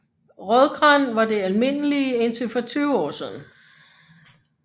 Rødgran var det almindelige indtil for 20 år siden